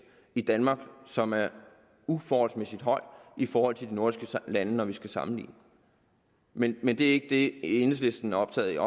i danmark som er uforholdsmæssig højt i forhold til nordiske lande når vi sammenligner med dem men det er ikke det enhedslisten er optaget af